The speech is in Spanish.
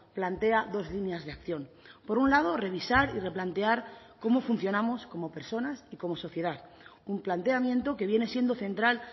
plantea dos líneas de acción por un lado revisar y replantear cómo funcionamos como personas y como sociedad un planteamiento que viene siendo central